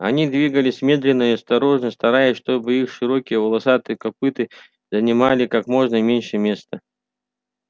они двигались медленно и осторожно стараясь чтобы их широкие волосатые копыта занимали как можно меньше места